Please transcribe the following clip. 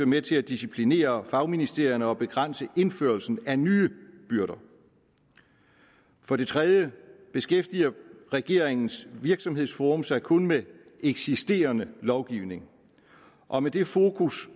med til at disciplinere fagministerierne og begrænse indførelsen af nye byrder for det tredje beskæftiger regeringens virksomhedsforum sig kun med eksisterende lovgivning og med det fokus